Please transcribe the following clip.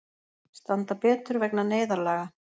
Standa betur vegna neyðarlaga